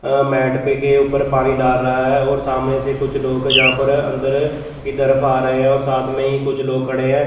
Mat पे के ऊपर पानी डाल रहा है और सामने से कुछ लोग जहां पर अन्दर की तरफ आ रहे है और साथ में ही कुछ लोग खड़े है।